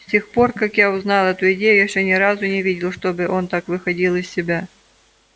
с тех пор как я узнал эту идею я ещё ни разу не видел чтобы он так выходил из себя